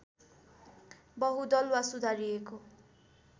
बहुदल वा सुधारिएको